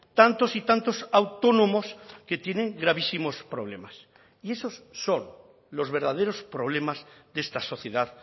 tantos y tantos autónomos que tienen gravísimos problemas y esos son los verdaderos problemas de esta sociedad